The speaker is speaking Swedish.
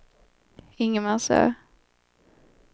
Ingmarsö